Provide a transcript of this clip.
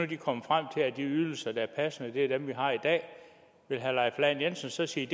de kom frem til at de ydelser der er passende er dem vi har i dag vil herre leif lahn jensen så sige